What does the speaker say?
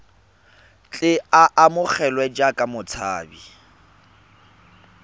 tle a amogelwe jaaka motshabi